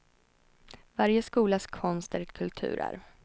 Varje skolas konst är ett kulturarv.